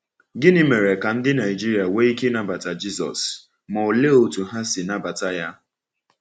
Gịnị mere ka ndị Naịjirịa nwee ike ịnabata Jisọs, ma òlee otú ha si nabata ya?